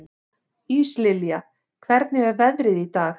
Íslilja, hvernig er veðrið í dag?